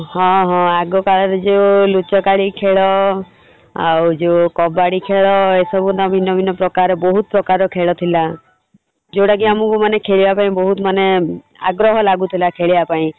ହଁ ହଁ ଆଗ କାଳରେ ଯଉ ଲୁଚକାଳି ଖେଳ ଆଉ ଯଉ କବାଡି ଖେଳ ଏସବୁ ନା ଭିନ୍ନ ଭିନ୍ନ ପ୍ରକାର ବହୁତ୍ ପ୍ରକାରର ଖେଳ ଥିଲା ଯଉଟା କି ଆମକୁ ମାନେ ଖେଳିବାପାଇଁ ବହୁତ୍ ମାନେ ଆଗ୍ରହ ଲାଗୁଥିଲା ଖେଳିବାପାଇଁ।